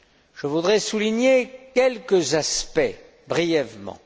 Je voudrais souligner quelques aspects brièvement.